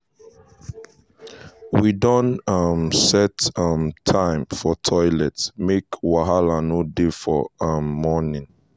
i tell dem make um dey stay for common areas no be for personal rooms.